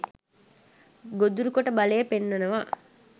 ගොදුරු කොට බලය පෙන්වනවා.